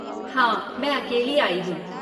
हाँ, मैं अकेली आई हूँ।